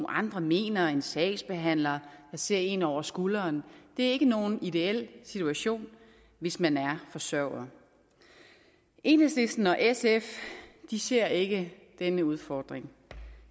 andre mener og en sagsbehandler der ser en over skulderen det er ikke nogen ideel situation hvis man er forsørger enhedslisten og sf ser ikke denne udfordring